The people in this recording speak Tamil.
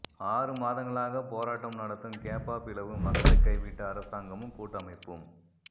ஆறு மாதங்களாக போராட்டம் நடத்தும் கேப்பாபிலவு மக்களைக் கைவிட்ட அரசாங்கமும் கூட்டமைப்பும்